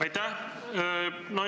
Aitäh!